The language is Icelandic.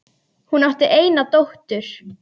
Hún átti eina dóttur.